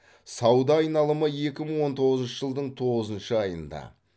сауда айналымы екі мың он тоғызыншы жылдың тоғызыншы айында